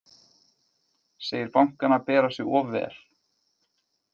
Segir bankana bera sig of vel